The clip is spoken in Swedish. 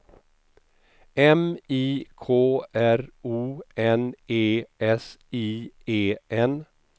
M I K R O N E S I E N